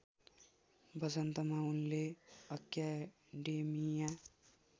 वसन्तमा उनले अक्याडेमिया